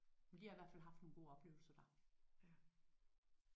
De har i hvert fald haft nogle gode oplevelser der